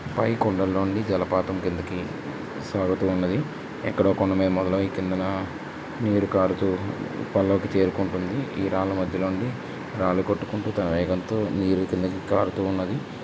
కొండల్లో నుండి జలపాతం కిందికి ఉన్నది. కిందన నీరు కారుతో రాళ్ల మధ్యలో ఉంటే నీరు కిందకి కారుతో ఉన్నది.